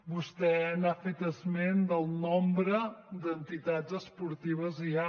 vostè ha fet esment del nombre d’entitats esportives que hi ha